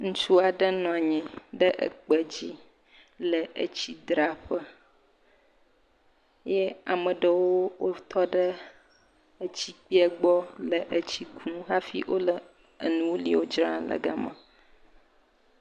Ŋutsu aɖe nɔnyi ɖe ekpe dzi le etsi dzraƒe ye ameɖewo wotɔ ɖe etsi kpeɛ gbɔ le etsi kum hafi wole enuo li wodzrana le fima.